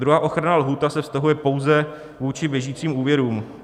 Druhá ochranná lhůta se vztahuje pouze vůči běžícím úvěrům.